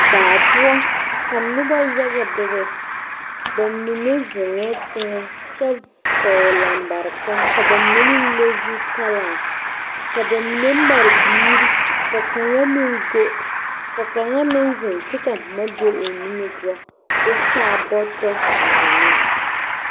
Daa poɔ ka noba yaga bebe ba mine zeŋee teŋa kyɛ vɔgele lambareka ka ba mine meŋ le zutaraa ka ba mine made biiri ka kaŋa mine go ka kaŋa meŋ zeŋ kyɛ ka boma beŋ o niŋe poɔ ka o taa bɔtɔ a zeŋ ne